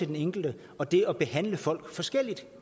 den enkelte og det at behandle folk forskelligt